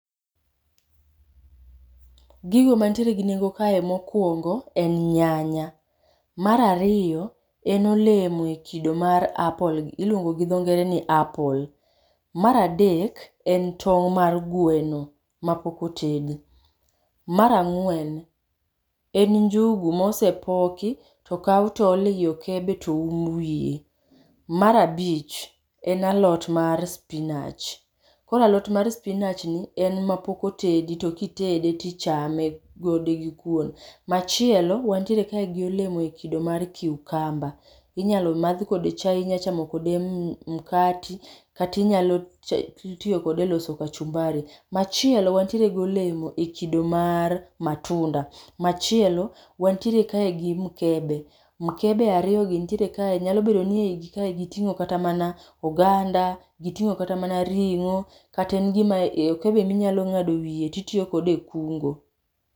Gigo manitiere gi nengo kae mokoungo en nyanya, mar ariyo en olemo e kido mar apple iluongo gi dho ngere ni apple. Mar adek, en tong' mar gweno ma pok otedi. Mar ang'wen , en njugu ma osepoki to okaw to ool e i okebe to oum wiye. Mar abich en alot mar spinach. Koro alot mar spinach ni en ma pok otedi to ki itede ti ichame gode gi kwon, machielo wanitiere gi olemo e kido mar cucumber, inyalo madh kode chae, inya chamo kode mkate kata inyalo tiyo kode e loso kachumbari. Machielo wantiere gi olemo e kido mar matunda, machielo wantiere kae gi mkebe, mkebe ariiyo gi nitiere kae gi mkebe mkebe ariyo gi nitiere kae nyalo bedo ni kae gi ting'o kata mana oganda, gi ting'o kata mana ring'o kata gin ka be inya ng'ado e wiye ti itiyo kode e kungo.